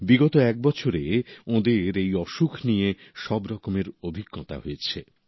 বিগত এক বছরে ওঁদের এই অসুখ নিয়ে সব রকমের অভিজ্ঞতা হয়েছে